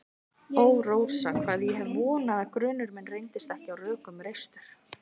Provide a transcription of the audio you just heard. Ó, Rósa, hvað ég hef vonað að grunur minn reyndist ekki á rökum reistur.